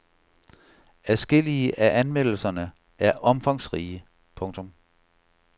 Adskillige af anmeldelserne er omfangsrige. punktum